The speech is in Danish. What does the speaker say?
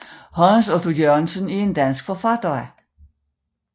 Hans Otto Jørgensen er en dansk forfatter